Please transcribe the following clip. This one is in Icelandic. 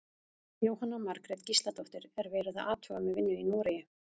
Jóhanna Margrét Gísladóttir: Er verið að athuga með vinnu í Noregi?